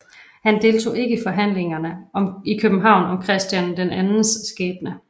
Han deltog ikke i forhandlingerne i København om Christian IIs skæbne